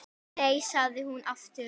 Nei, sagði hún aftur.